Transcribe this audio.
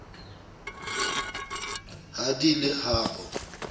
ha di le ha bo